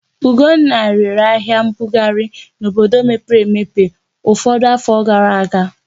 Ugonna rere ahịa mbughari n'obodo mepere emepe ụfọdụ afọ gara aga.